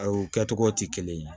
Aw kɛ togo tɛ kelen ye